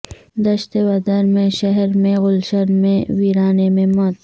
دشت ودر میں شہر میں گلشن میں ویرانے میں موت